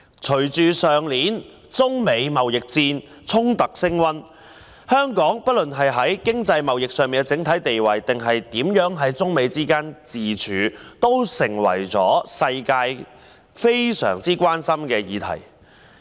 隨着去年中美貿易衝突升溫，無論香港在經濟貿易上的整體地位或是在中美之間的自處，都成為全球十分關心的議題。